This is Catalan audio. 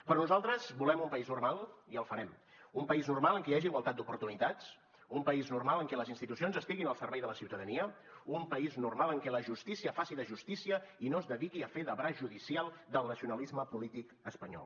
però nosaltres volem un país normal i el farem un país normal en què hi hagi igualtat d’oportunitats un país normal en què les institucions estiguin al servei de la ciutadania un país normal en què la justícia faci de justícia i no es dediqui a fer de braç judicial del nacionalisme polític espanyol